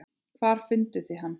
Hvar funduð þið hann?